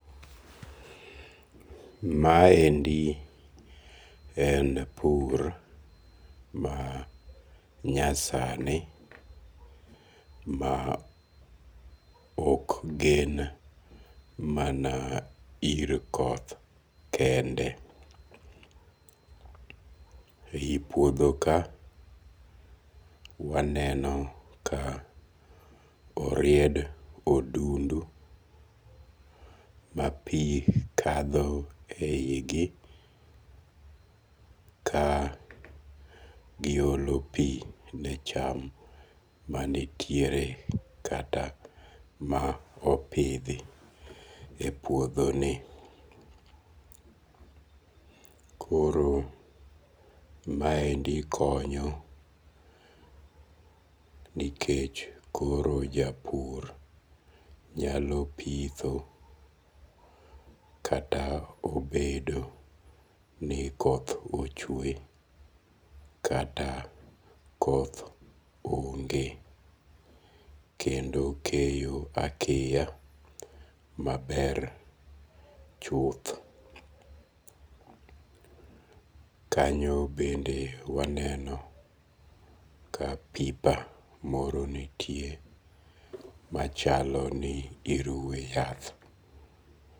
Maendi en pur manyasani ma ok gen mana ir koth kende. Eyi puodho ka waneno ka oried odundu ma pi kadho e yi gi ka giolo pi ne cham mannitiere ma opidhi e puodho ni. Koro maendi konyo nikech koro japur nyalo pitho kata obedo ni koth ochwe kata koth onge. Kendo okeyo akeya maber chuth. Kanyo bende waneno ka pipa moro nitie machalo ni iruwe yath.